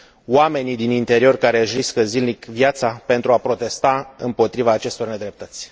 oamenii din interior care își riscă zilnic viața pentru a protesta împotriva acestor nedreptăți.